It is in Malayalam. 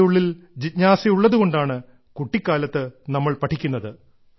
നമ്മുടെ ഉള്ളിൽ ജിജ്ഞാസയുള്ളതു കൊണ്ടാണ് കുട്ടിക്കാലത്ത് നമ്മൾ പഠിക്കുന്നത്